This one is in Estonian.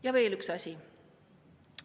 Ja veel üks asi.